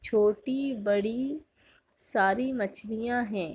छोटी बड़ी सारी मछलियाँ हैं।